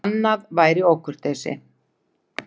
Annað væri ókurteisi.